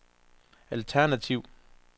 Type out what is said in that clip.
alternativ